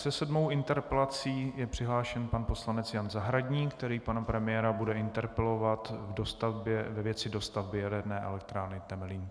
Se sedmou interpelací je přihlášen pan poslanec Jan Zahradník, který pana premiéra bude interpelovat ve věci dostavby Jaderné elektrárny Temelín.